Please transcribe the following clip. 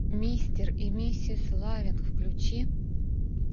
мистер и миссис лавинг включи